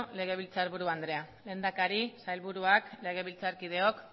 legebiltzar buru andrea lehendakari sailburuak legebiltzarkideok